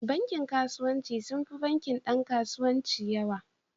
Bankin kasuwanci sun fi bankin Dan kasuwanci yawa.